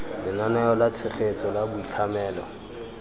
lenaneo la tshegetso la boitlhamelo